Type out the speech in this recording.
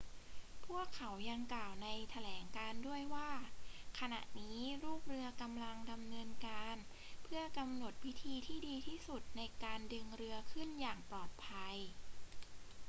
พวกเขายังกล่าวในแถลงการณ์ด้วยว่า ขณะนี้ลูกเรือกำลังดำเนินการเพื่อกำหนดวิธีที่ดีที่สุดในการดึงเรือขึ้นอย่างปลอดภัย